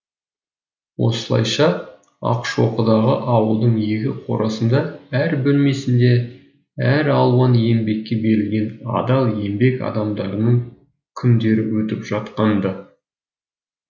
осылайша ақшоқыдағы ауылдың екі қорасында әр бөлмесінде әралуан еңбекке берілген адал еңбек адамдарының күндері өтіп жатқан ды